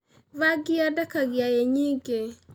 Bangi yendekagia ĩ nyingĩ.